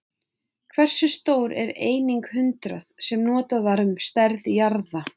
Hversu stór er einingin hundrað, sem notuð var um stærð jarða?